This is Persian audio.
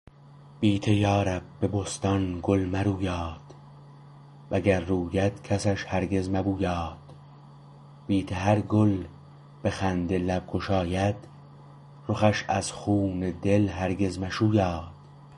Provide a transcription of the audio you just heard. بی ته یارب به بستان گل مرویاد وگر روید کسش هرگز مبویاد بی ته هر گل به خنده لب گشاید رخش از خون دل هرگز مشویاد